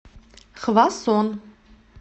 хвасон